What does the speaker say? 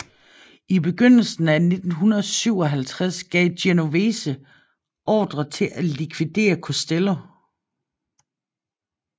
I begyndelsen af 1957 gav Genovese ordre til at likvidere Costello